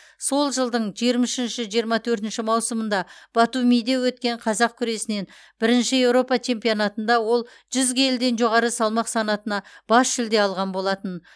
сол жылдың жиырма үшінші жиырма төртінші маусымында батумиде өткен қазақ күресінен бірінші еуропа чемпионатында ол жүз келіден жоғары салмақ санатына бас жүлде алған болатын